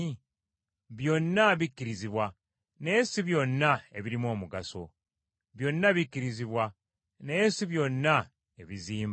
Byonna bikkirizibwa, naye si byonna ebirimu omugaso. Byonna bikkirizibwa naye si byonna ebizimba.